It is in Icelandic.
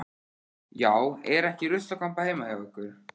Já, er ekki ruslakompa heima hjá ykkur.